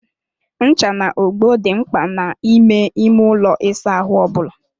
Ncha na ogbo dị mkpa n'ime ime ụlọ ịsa ahụ ọ bụla.